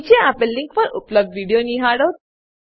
નીચે આપેલ લીંક પર ઉપલબ્ધ વિડીઓ નિહાળો